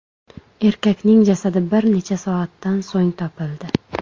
Erkakning jasadi bir necha soatdan so‘ng topildi.